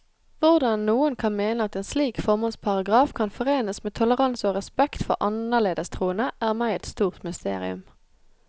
Hvordan noen kan mene at en slik formålsparagraf kan forenes med toleranse og respekt for annerledes troende, er meg et stort mysterium.